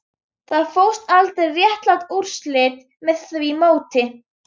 Það fást aldrei réttlát úrslit með því móti